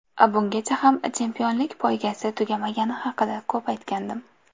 Bungacha ham chempionlik poygasi tugamagani haqida ko‘p aytgandim.